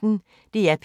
DR P1